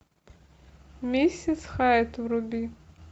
миссис хайд вруби